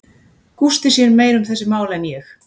Gústi sér meira um þessi mál en ég.